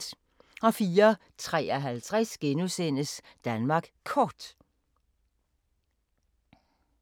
04:53: Danmark Kort *